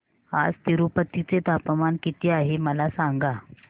आज तिरूपती चे तापमान किती आहे मला सांगा